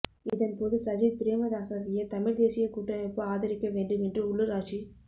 இதன்போது சஜித் பிரேமதாஸவையே தமிழ்த் தேசியக் கூட்டமைப்பு ஆதரிக்க வேண்டும் என்று உள்ளூராட்சி